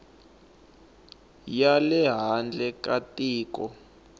ya le handle ka tiko